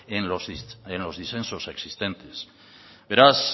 en los disensos existentes beraz